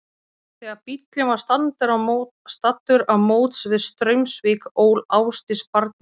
Þegar bíllinn var staddur á móts við Straumsvík ól Ásdís barnið.